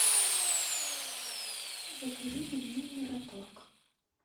закажи пельмени мираторг